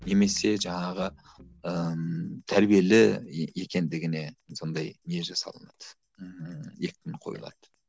немесе жаңағы ыыы тәрбиелі екендігіне сондай не жасалынады ыыы екпін қойылады